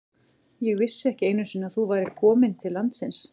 Ég vissi ekki einu sinni að þú værir komin til landsins.